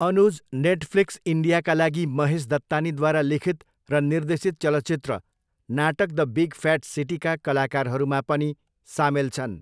Anuj Netflix इन्डियाका लागि महेश दत्तानीद्वारा लिखित र निर्देशित चलचित्र नाटक द बिग फ्याट सिटीका कलाकारहरूमा पनि सामेल छन्।